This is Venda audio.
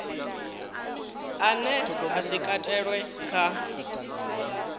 ane a si katelwe kha